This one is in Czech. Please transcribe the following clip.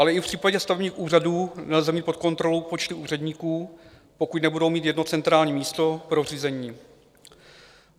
Ale i v případě stavebních úřadů nelze mít pod kontrolou počty úředníků, pokud nebudou mít jedno centrální místo pro řízení.